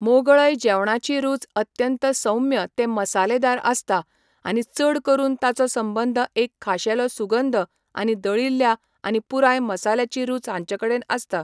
मोगळय जेवणाची रुच अत्यंत सौम्य ते मसालेदार आसता, आनी चड करून ताचो संबंद एक खाशेलो सुगंध आनी दळिल्ल्या आनी पुराय मसाल्याची रुच हांचेकडेन आसता.